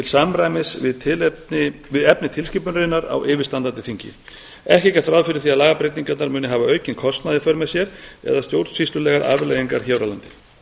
samræmis við efni tilskipunarinnar á yfirstandandi þingi ekki er gert ráð fyrir því að lagabreytingarnar muni hafa aukinn kostnað í för með sér eða stjórnsýslulegar afleiðingar hér á landi